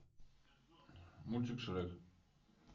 мультик шрек